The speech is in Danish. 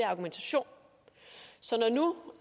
argumentation så når nu